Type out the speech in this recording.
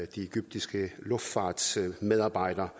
de egyptiske luftfartsmedarbejdere